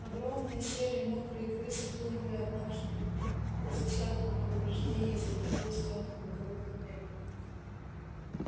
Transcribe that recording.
огромные серые мокрые крысы хлынули однажды безо всякого предупреждения из одного из тёмных боковых туннелей